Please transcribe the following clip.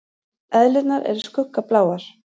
Eðlurnar eru skuggabláar.